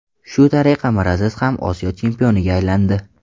Shu tariqa Miraziz ham Osiyo chempioniga aylandi.